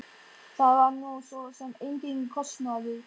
Það var nú svo sem enginn kostnaður.